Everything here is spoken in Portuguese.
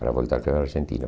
Para voltar para a Argentina.